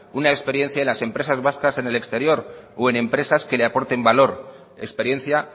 una experiencia en las empresas vascas en el exterior o en empresas que le aporten valor experiencia